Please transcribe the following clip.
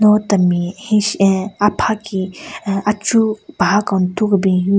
Lo temi henshi ahh apha ki aahh achu paha ku ntu kebin hyu.